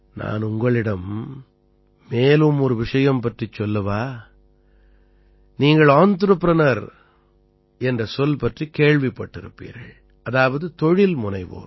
நான் உங்களிடம் மேலும் ஒரு விஷயம் பற்றிச் சொல்லவா நீங்கள் என்ட்ரபிரினியூர் என்ற சொல் பற்றிக் கேள்விப்பட்டிருப்பீர்கள் அதாவது தொழில்முனைவோர்